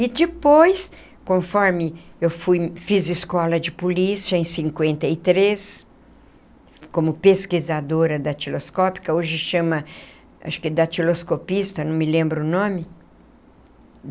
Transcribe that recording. E depois, conforme eu fui fiz escola de polícia, em cinquenta e três, como pesquisadora datiloscópica, hoje chama, acho que datiloscopista, não me lembro o nome.